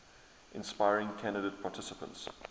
inspiring candidate participants